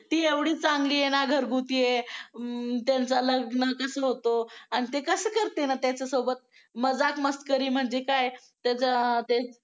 ती एवढी चांगली आहे ना घरगुती आहे अं त्यांचं लग्न कसं होतो आणि ते कसं करते ना त्याच्यासोबत मजाक मस्करी म्हणजे काय त्याच्या ते